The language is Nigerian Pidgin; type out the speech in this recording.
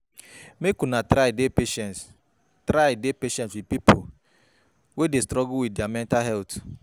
Make una try dey patient, try dey patient wit pipo wey dey struggle wit dia mental health.